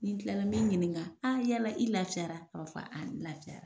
Ni n kilala n mi ɲininka a yala i lafiyara a b'a a n lafiyara.